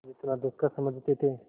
जितना दुष्कर समझते थे